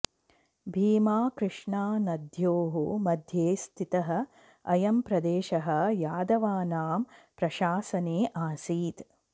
भीमाकृष्णानद्योः मध्ये स्थितः अयं प्रदेशः यादवानां प्रशासने आसीत्